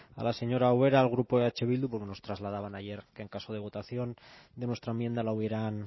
a la señora ubera al grupo eh bildu pues nos trasladaban ayer que en caso de votación de nuestra enmienda la hubieran